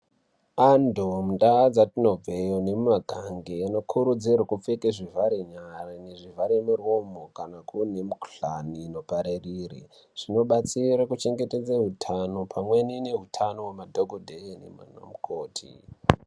Antu mundaa dzatinobveyo nemumagange anokurudzirwe kupfeke zvivhare nyara nezvivhare miromo kana kuine mikuhlani inoparerire. Zvinobatsire kuchengetedze hutano pamweni nehutano hwemadhogodheye naana mukoti.